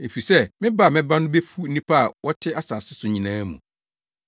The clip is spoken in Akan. Efisɛ me ba a mɛba no befu nnipa a wɔte asase so nyinaa mu.